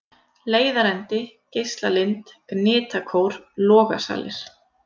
Leiðarendi, Geislalind, Gnitakór, Logasalir